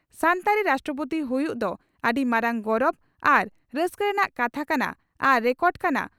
"ᱥᱟᱱᱛᱟᱲ ᱨᱟᱥᱴᱨᱚᱯᱳᱛᱤ ᱦᱩᱭᱩᱜ ᱫᱚ ᱟᱹᱰᱤ ᱢᱟᱨᱟᱝ ᱜᱚᱨᱚᱵᱽ ᱟᱨ ᱨᱟᱹᱥᱠᱟᱹ ᱨᱮᱱᱟᱜ ᱠᱟᱛᱷᱟ ᱠᱟᱱᱟ ᱟᱨ ᱨᱮᱠᱚᱰ ᱠᱟᱱᱟ